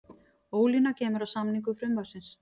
Ólína kemur að samningu frumvarpsins